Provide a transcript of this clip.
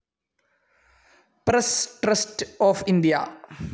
press trust of India